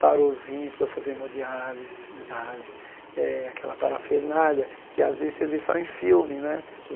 Parou os rins, foi fazer hemodiálese diálise eh, aquela parafernália, que às vezes você vê só em filme, né?